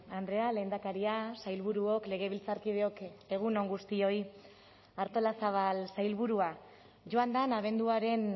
andrea lehendakaria sailburuok legebiltzarkideok egun on guztioi artolazabal sailburua joan den abenduaren